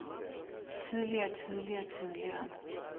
tidligere tidligere tidligere